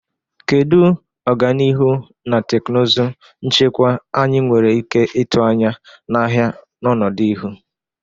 Kedu ọganihu na teknụzụ nchekwa anyị nwere ike ịtụ anya n'ahịa n'ọdịnihu?